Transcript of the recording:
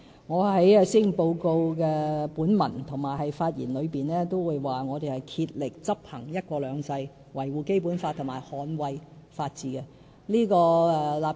我在施政報告本文和發言中均已表示，我們會竭力執行"一國兩制"，維護《基本法》和捍衞法治。